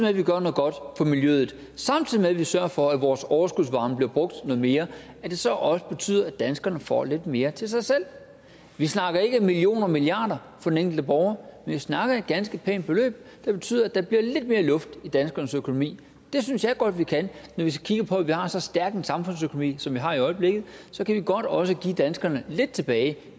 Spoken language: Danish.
at vi gør noget godt for miljøet samtidig med at vi sørger for at vores overskudsvarme bliver brugt noget mere at det så også betyder at danskerne får lidt mere til sig selv vi snakker ikke millioner milliarder for den enkelte borger men vi snakker om et ganske pænt beløb der betyder at der bliver lidt mere luft i danskernes økonomi det synes jeg godt vi kan for vi kigger på at vi har så stærk en samfundsøkonomi som vi har i øjeblikket kan vi godt også give danskerne lidt tilbage